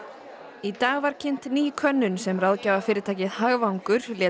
í dag var kynnt ný könnun sem ráðgjafafyrirtækið hagvangur lét